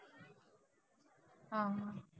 हं हं.